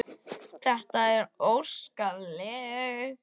Þetta er óskalag fyrir Sesar.